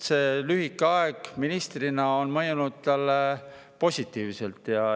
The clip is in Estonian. See lühike aeg ministrina mõjus talle positiivselt.